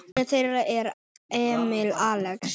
Sonur þeirra er Emil Axel.